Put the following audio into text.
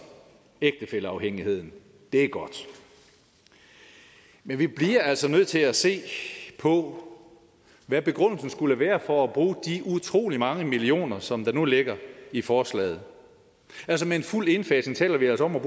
ægtefælleafhængigheden det er godt men vi bliver altså nødt til at se på hvad begrundelsen skulle være for at bruge de utrolig mange millioner som der nu ligger i forslaget med en fuld indfasning taler vi altså om at